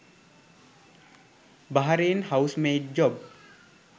Bahrain housemaid job